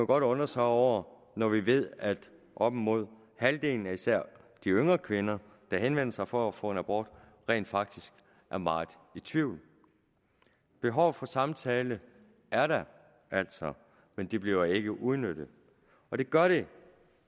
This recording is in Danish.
godt undre sig over når vi ved at op imod halvdelen af især de yngre kvinder der henvender sig for at få en abort rent faktisk er meget i tvivl behovet for samtale er der altså men det bliver ikke udnyttet det gør det